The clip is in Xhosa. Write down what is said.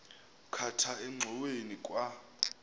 khatha engxoweni kwa